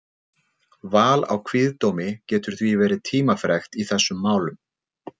Val á kviðdómi getur því verið tímafrekt í þessum málum.